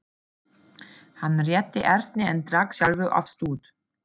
Hann rétti Erni en drakk sjálfur af stút.